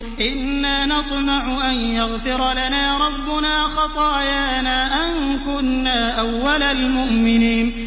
إِنَّا نَطْمَعُ أَن يَغْفِرَ لَنَا رَبُّنَا خَطَايَانَا أَن كُنَّا أَوَّلَ الْمُؤْمِنِينَ